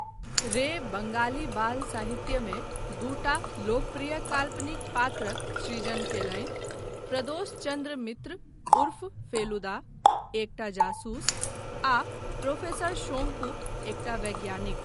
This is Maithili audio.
रे बङ्गाली बाल साहित्यमे दूटा लोकप्रिय काल्पनिक पात्रक सृजन कयलनि, प्रदोष चन्द्र मित्र उर्फ फेलुदा, एकटा जासूस, आ प्रोफेसर शौंकू, एकटा वैज्ञानिक।